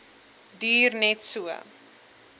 duur net so